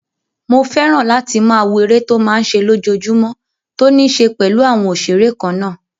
Mo fẹ́ràn láti máa wo eré tó máa n ṣe lójojúmọ́ tó ní ṣe pẹ̀lú àwọn òṣeré kannáà